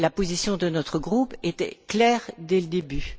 La position de notre groupe était claire dès le début.